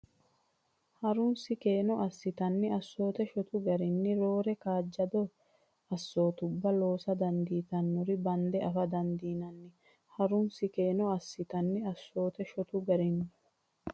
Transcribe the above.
Ha runsi keeno assatenni assoote shotu garinni roore kaajjadda assootubba loosa dandiitinore bande affa dandiinanni Ha runsi keeno assatenni assoote shotu garinni.